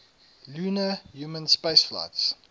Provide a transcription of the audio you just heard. lunar human spaceflights